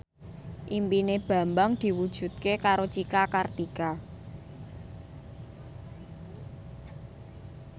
impine Bambang diwujudke karo Cika Kartika